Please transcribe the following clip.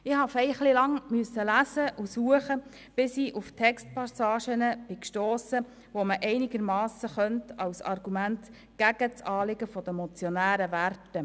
Ich musste ziemlich lange lesen und suchen, bis ich auf Textpassagen stiess, die man einigermassen als Argumente gegen das Anliegen der Motionäre gelten lassen könnte.